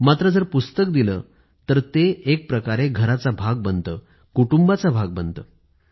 मात्र जर पुस्तक दिलं तर एक प्रकारे घराचा भाग बनतं कुटुंबाचा भाग बनतं